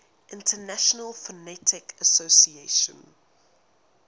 international phonetic association